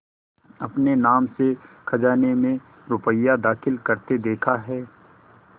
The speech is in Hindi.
अपने नाम से खजाने में रुपया दाखिल करते देखा है